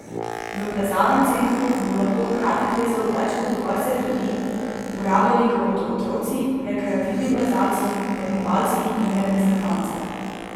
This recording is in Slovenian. V plezalnem centru bo lahko hkrati plezalo več kot dvajset ljudi, uporabljali ga bodo otroci, rekreativni plezalci, tekmovalci in reprezentance.